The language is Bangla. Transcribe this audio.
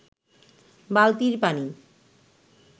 বালতির পানি